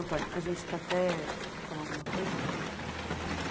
Antônio, a gente está até... Você quer falar alguma coisa disso?